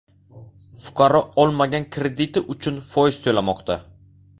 Fuqaro olmagan krediti uchun foiz to‘lamoqda.